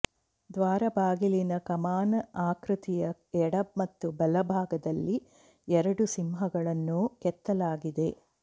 ದ್ವಾರಬಾಗಿಲಿನ ಕಮಾನ್ ಆಕೃತಿಯ ಎಡ ಮತ್ತು ಬಲ ಭಾಗದಲ್ಲಿ ಎರಡು ಸಿಂಹಗಳನ್ನು ಕೆತ್ತಲಾಗಿದೆ